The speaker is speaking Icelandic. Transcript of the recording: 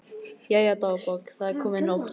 Jæja, dagbók, það er komin nótt.